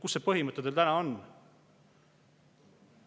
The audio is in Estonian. Kus see põhimõte täna on?